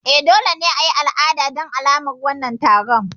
E, dole ne a yi al'ada don alamar wannan taron.